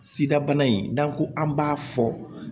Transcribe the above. Sida bana in n'an ko an b'a fɔ